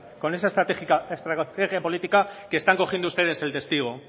con esa estrategia política que están cogiendo ustedes el testigo